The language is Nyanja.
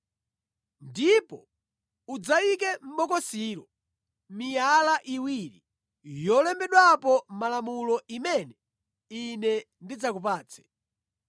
Ndipo udzayike mʼbokosilo miyala iwiri yolembedwapo malamulo imene Ine ndidzakupatse.